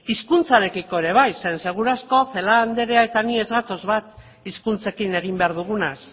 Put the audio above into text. hizkuntzarekiko ere bai zeren eta seguru asko celaá anderea eta ni ez gatoz bat hizkuntzekin egin behar dugunaz